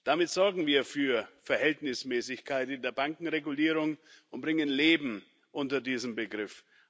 Damit sorgen wir für Verhältnismäßigkeit in der Bankenregulierung und bringen Leben unter diesen Begriff.